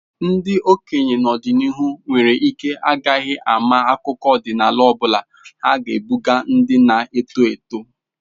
Ndị okenye n'ọdịnihu nwere ike ha agaghị ama akụkọ ọdịnala ọ bụla ha ga-ebuga ndị na-eto eto.